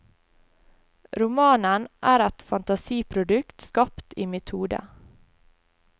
Romanen er et fantasiprodukt skapt i mitt hode.